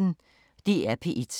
DR P1